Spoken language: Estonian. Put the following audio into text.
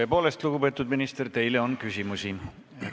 Tõepoolest, lugupeetud minister, teile on küsimusi.